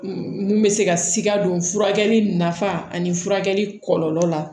N bɛ se ka sika don furakɛli nafa ani furakɛli kɔlɔlɔ la